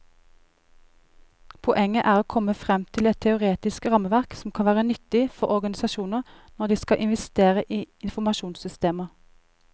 Poenget er å komme frem til et teoretisk rammeverk som kan være nyttig for organisasjoner når de skal investere i informasjonssystemer.